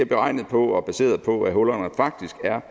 beregnet på og baseret på at hullerne faktisk er